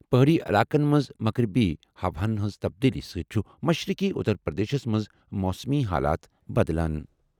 پہٲڑی علاقَن منٛز مغربی ہوہَن ہٕنٛز تبدیلی سۭتۍ چھِ مشرقی اتر پردیشَس منٛز موسمی حالات بدلان۔